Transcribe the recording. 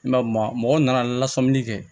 I ma mɔgɔ nana lasɔmin kɛ